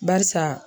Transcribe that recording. Barisa